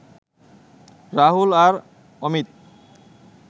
রাহুল আর অমিত